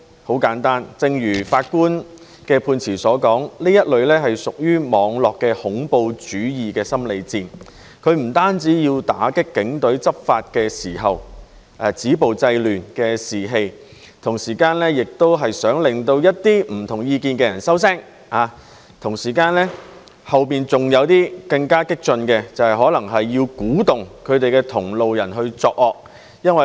很簡單，正如法官的判詞所說，這是屬於網絡恐怖主義的心理戰，不單要打擊警隊執法時"止暴制亂"的士氣，同時也想令一些不同意見的人收聲，同時背後還有更激進的用意，就是要鼓動同路人作惡。